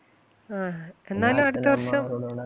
എന്നാലും അടുത്ത വർഷം